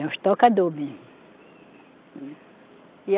Era os tocador mesmo. E a